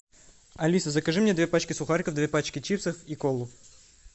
алиса закажи мне две пачки сухариков две пачки чипсов и колу